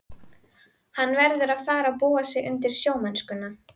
Hann verður að fara að búa sig undir sjómennskuna.